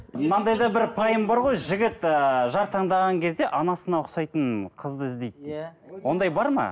мынандай да бір пайым бар ғой жігіт ыыы жар таңдаған кезде анасына ұқсайтын қызды іздейді деп иә ондай бар ма